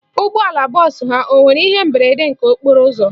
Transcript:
Ụgbọala bọọsụ ha o nwere ihe mberede nke okporo ụzọ?